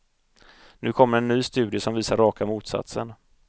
Nu kommer en ny studie som visar raka motsatsen.